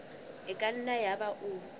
e ka nna yaba o